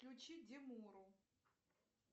включи демуру